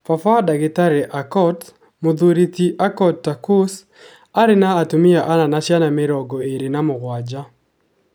Baba wa dagitari Aukot, Muthuri ti Aukot Tarkus, aarĩ na atumia ana na ciana mĩrongo ĩrĩ na mũgwanja.